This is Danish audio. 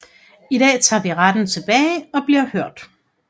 I dag tager vi retten tilbage og bliver hørt